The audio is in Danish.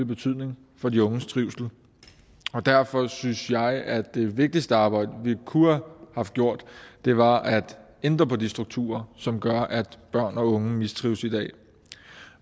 betydning for de unges trivsel derfor synes jeg at det vigtigste arbejde vi kunne have haft gjort var at ændre på de strukturer som gør at børn og unge mistrives i dag